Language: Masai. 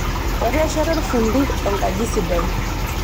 Etesheta olfundi enkaji sidai.